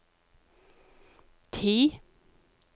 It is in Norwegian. ti